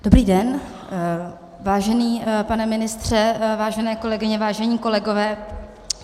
Dobrý den, vážený pane ministře, vážené kolegyně, vážení kolegové.